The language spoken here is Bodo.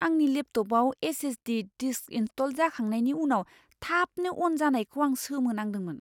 आंनि लेपट'पआव एस.एस.डि. डिस्क इनस्टल जाखांनायनि उनाव थाबनो अन जानायखौ आं सोमोनांदोंमोन!